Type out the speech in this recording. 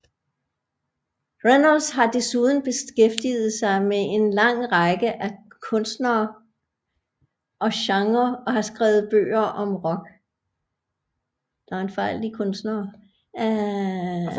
Reynolds har desuden beskæftiget sig med en lang række af kunstnerer og genrer og har skrevet bøger om rock